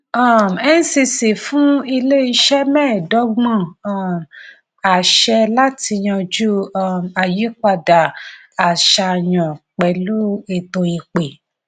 um ncc fún iléiṣẹ mẹẹdọgbọn um àṣẹ láti yanjú um ayípadà àṣàyàn pẹlu eto ìpè